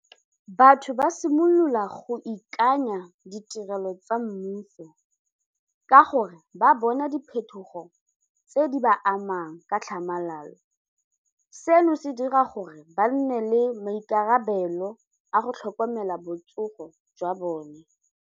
Batho ba simolola go ikanya ditirelo tsa mmuso ka gore ba bona diphetogo tse di ba amang ka tlhamalalo, seno se dira gore ba nne le maikarabelo a go tlhokomela botsogo jwa bone.